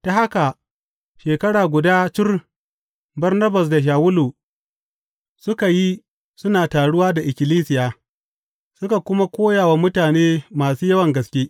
Ta haka shekara guda cur Barnabas da Shawulu suka yi suna taruwa da ikkilisiya, suka kuma koya wa mutane masu yawan gaske.